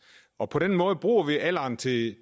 og på den måde bruger vi alderen til